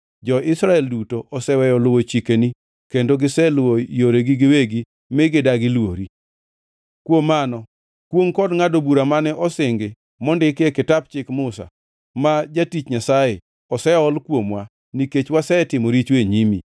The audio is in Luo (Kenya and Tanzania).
Jo-Israel duto oseweyo luwo chikeni, kendo giseluwo yoregi giwegi, mi gidagi luori. “Kuom mano kwongʼ kod ngʼado bura mane osingi mondiki e kitap Chik Musa, ma jatich Nyasaye, oseol kuomwa, nikech wasetimo richo e nyimi.